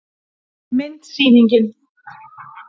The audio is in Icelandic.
Mynd: Sýningin.